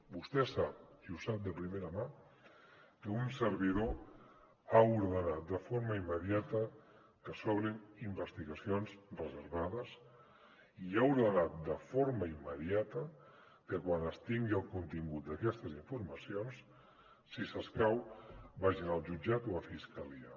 vostè sap i ho sap de primera mà que un servidor ha ordenat de forma immediata que s’obrin investigacions reservades i ha ordenat de forma immediata que quan es tingui el contingut d’aquestes informacions si s’escau vagin al jutjat o a fiscalia